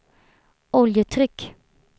oljetryck